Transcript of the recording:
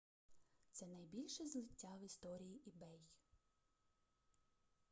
це найбільше злиття в історії ebay